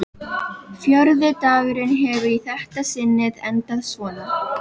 Fjórði dagurinn hefur í þetta sinnið endað svona.